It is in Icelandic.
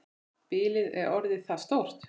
Bilið er orðið það stórt.